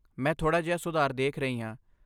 ਮੈਂ ਥੋੜ੍ਹਾ ਜਿਹਾ ਸੁਧਾਰ ਦੇਖ ਰਹੀ ਹਾਂ।